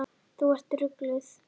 Þú ert ruglaður.